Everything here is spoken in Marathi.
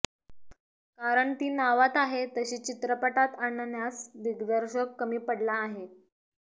कारण ती नावात आहे तशी चित्रपटात आणण्याच दिग्दर्शक कमी पडला आहे